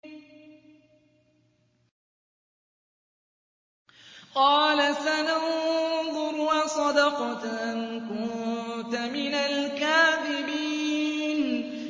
۞ قَالَ سَنَنظُرُ أَصَدَقْتَ أَمْ كُنتَ مِنَ الْكَاذِبِينَ